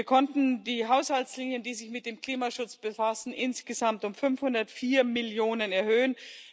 Wir konnten die Haushaltslinien, die sich mit dem Klimaschutz befassen, insgesamt um 504 Millionen EUR erhöhen.